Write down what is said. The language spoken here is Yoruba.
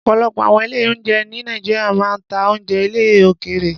Ọ̀pọ̀lọpọ̀ àwọn ilé-oúnjẹ ní Nàìjíríà máa ń ta oúnjẹ ilẹ̀ òkèèrè.